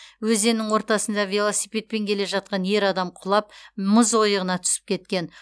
өзеннің ортасында велосипедпен келе жатқан ер адам құлап мұз ойығына түсіп кеткен